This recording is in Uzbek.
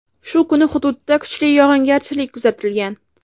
Shu kuni hududda kuchli yog‘ingarchilik kuzatilgan.